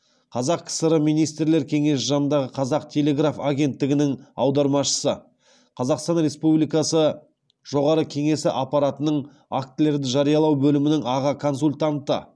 қазақ кср министрлер кеңесі жанындағы қазақ телеграф агенттігінің аудармашысы қазақстан республикасы жоғары кеңесі аппаратының актілерді жариялау бөлімінің аға консультанты